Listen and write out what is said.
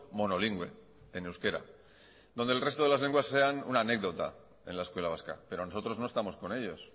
monolingüe en euskera donde el resto de las lenguas sean una anécdota en la escuela vasca pero nosotros no estamos con ellos